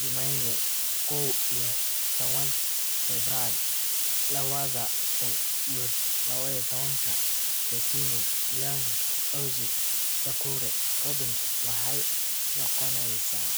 Jumanne kow iyo tawan febray lawadha kun iyo lawatanka: Coutinho, Young, Ozil, Doucoure, Robinson," waxay noqonaysaa: